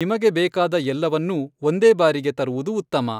ನಿಮಗೆ ಬೇಕಾದ ಎಲ್ಲವನ್ನೂ ಒಂದೇ ಬಾರಿಗೆ ತರುವುದು ಉತ್ತಮ.